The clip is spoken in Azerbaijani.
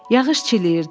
Yağış çiləyirdi.